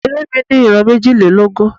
Eré mi ní ìran méjìlélógún.